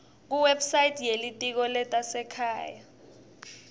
kuwebsite yelitiko letasekhaya